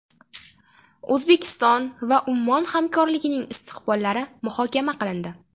O‘zbekiston va Ummon hamkorligining istiqbollari muhokama qilindi.